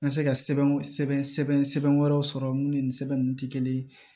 N ka se ka sɛbɛn sɛbɛn sɛbɛn sɛbɛn wɛrɛw sɔrɔ mun ni nin sɛbɛn nunnu tɛ kelen ye